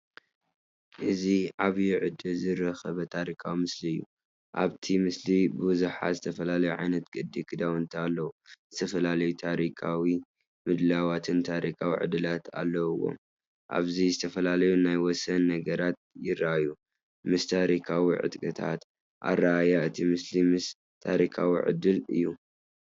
እዚይ ዓቢይ ዕድል ዝረኸበ ታሪኻዊ ምስሊ እዩ። ኣብቲ ምስሊ ብዙሓት ዝተፈላለዩ ዓይነታት ቅዲ ክዳውንቲ ኣለዉ፣ ዝተፈላለየ ታሪኻዊ ምድላዋትን ታሪኻዊ ዕድላትን ኣለዎም። ኣብዚ ዝተፈላለዩ ናይ ወሰን ነገራት ይረኣዩ፣ ምስ ታሪኻዊ ቅጥዕታት። ኣረኣእያ እቲ ምስሊ ምስ ታሪኻዊ ዕድል እዩ።